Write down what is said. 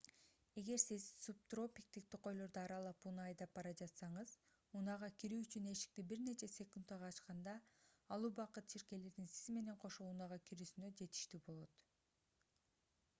эгер сиз субтропиктик токойлорду аралап унаа айдап бара жатсаңыз унаага кирүү үчүн эшикти бир нече секундага ачканда ал убакыт чиркейлердин сиз менен кошо унаага кирүүсүнө жетиштүү болот